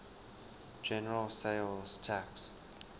general sales tax